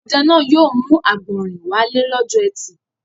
Ọdẹ náà yóò mú àgbọ̀rìn wálé lọ́jọ́ ẹtì.